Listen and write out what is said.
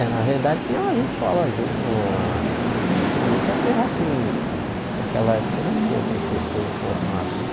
É, na verdade tinha umas escolazinhas, uma nunca teve assim, naquela época não tinha professores formados, né?